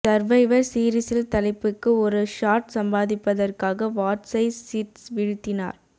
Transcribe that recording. survivor சீரிஸில் தலைப்புக்கு ஒரு ஷாட் சம்பாதிப்பதற்காக வாட்ஸை சிட் வீழ்த்தினார்